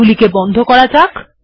এটিকে বন্ধ করা যাক